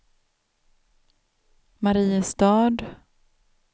Mariestad